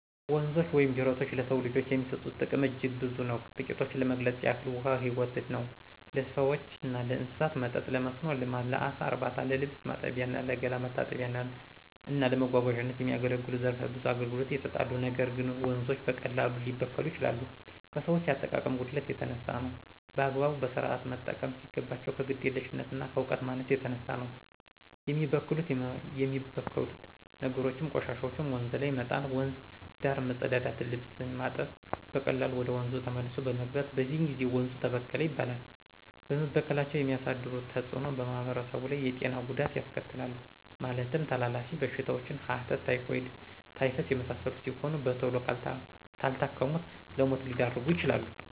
ወንዞች ወይም ጅረቶች ለሰው ልጆች የሚሰጡት ጥቅም አጅግ ብዙ ነው ትቂቶችን ለመግለጽ ያህል ውሀ ህይወት ነው ለሰዎችና ለእንስሳት መጠጥ :ለመስኖ ልማት: ለአሳ እርባታ :ለልብስ ማጠቢያ :ለገላ መታጠቢያና እና ለመጓጓዛነት የመሳሰሉት ዘረፈ ብዙ አገልግሎት ይሰጣሉ ነገር ግን ወንዞች በቀላሉ ሊበከሉ ይችላሉ ከሰዎች የአጠቃቀም ጉድለት የተነሳ ነው። በአግባቡ በስርአት መጠቀም ሲገባቸው ከግዴለሽነትና ከእውቀት ማነስ የተነሳ ነው የሚበከሉት የሚበክሉት ነገሮችም :ቆሻሻዎችን ወንዝ ላይ መጣል :ወንዝ ዳር መጸዳዳትና ልብስ ማጠብ በቀላሉ ወደ ወንዙ ተመልሶ በመግባት በዚህ ጊዜ ወንዙ ተበከለ ይባላል በመበከላቸው የሚያሳድሩት ተጽእኖ በማህበረሰቡ ላይ የጤና ጉዳት ያስከትላሉ ማለትም ተላላፊ በሽታዎችን ሐተት :ታይፎይድ :ታይፈስ የመሳሰሉት ሲሆኑ በተሎ ካልታከሙት ለሞት ሊዳርጉ ይችላሉ።